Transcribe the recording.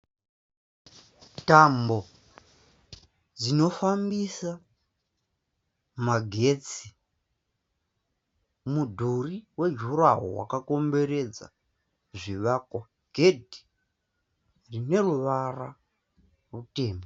Tambo dzinofambisa magetsi mudhuri wejuraho wakakomberedza zvivakwa gedhi rine ruvara rutema.